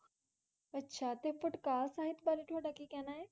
ਅੱਛਾ ਤੇ ਪਟਕਾਲ ਸਹਿਤ ਬਾਰੇ ਤੁਹਾਡਾ ਕੀ ਕਹਿਣਾ ਏ?